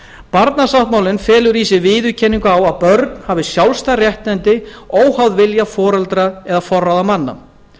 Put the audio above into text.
barnasáttmálinn felur í sér viðurkenningu á að börn hafi sjálfstæð réttindi óháð vilja foreldra eða forráðamanna